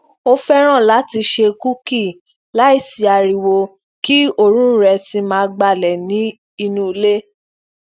ó féràn láti se kuki laisi ariwo kí òórùn rẹ sì máa gbalẹ ni inuule